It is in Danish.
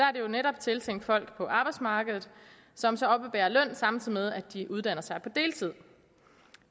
er jo netop tiltænkt folk på arbejdsmarkedet som så oppebærer løn samtidig med at de uddanner sig på deltid